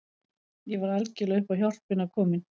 Ég var algjörlega upp á hjálpina komin.